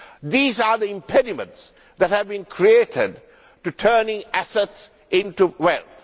These are the impediments that have been created in turning assets into wealth.